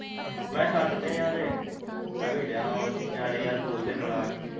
ਮੈਂ ਛੱਤ ਤੇ ਆ ਤੇ ਅਵੇ ਡਿਆ ਆ ਨਿਆਣੇ ਯਾਰ ਬੋਲਦੇ ਬੜਾ ਆ